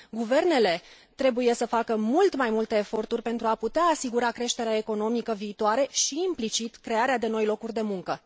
Guvernele trebuie să facă mult mai multe eforturi pentru a putea asigura creșterea economică viitoare și, implicit, crearea de noi locuri de muncă.